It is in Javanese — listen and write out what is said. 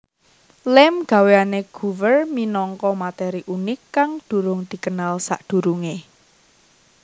Lem gawéane Coover minangka materi unik kang durung dikenal sadurunge